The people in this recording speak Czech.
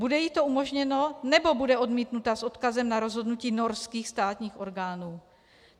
Bude jí to umožněno, nebo bude odmítnuta s odkazem na rozhodnutí norských státních orgánů?